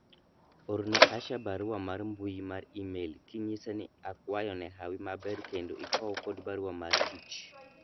orne Asha barua mar mbui mar email kinyise ni akwayo ne hawi maber kendo ikow kod barua mar tich